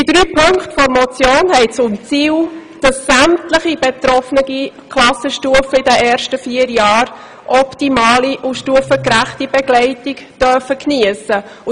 Die drei Punkte der Motion haben zum Ziel, dass sämtliche betroffenen Klassenstufen in den ersten vier Jahren optimale, stufengerechte Begleitung geniessen dürfen.